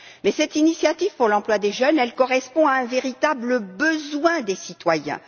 Mais cette initiative pour l'emploi des jeunes correspond à un véritable besoin des citoyens